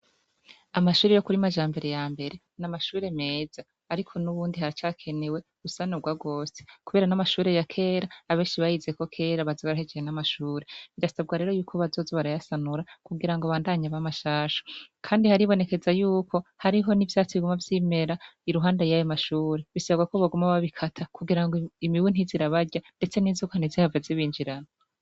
Amashuri yo kuri Majambere ya mbere n'amashure meza. Ariko nubundi haracakenewe gusanugwa gose kubera n'amashuri ya kera abenshi bayize ko kera baza barahejeje n'amashure. Birasabwa rero yuko bazoza barayasanura kugira ngo abandanye aba mashasha kandi haribonekeza yuko hariho n'ivyaatsi biguma vyimeza iruhande y'ayo mashure, bisabwa ko baguma babikata kugira ngo imibu ntize irabarya ndetse n'inzoka ntizihave zibinjirana.